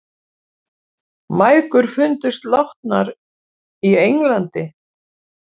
Mæðgur fundust látnar í Englandi